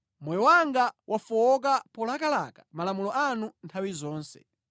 Moyo wanga wafowoka polakalaka malamulo anu nthawi zonse.